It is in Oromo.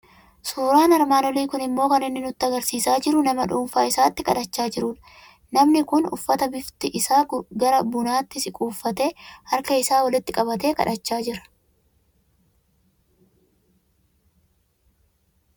Suuraan armaan olii kun immoo kan inni nutti argisiisaa jiru nama dhuunfaa isaatti kadhachaa jirudha. Nmani kun uffata bifti isaa gara bunaatti siqu uffatee, harka isaa walitti qabatee kadhachaa jira.